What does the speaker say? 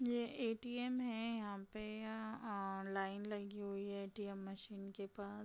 यह ऐटीएम् है। यहाँ पे अ आ लाइन लगी हुई हैऐटीएम् मशीन के पास।